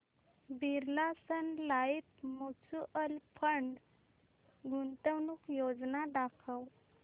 Birla sun life mutual fund गुंतवणूक योजना दाखव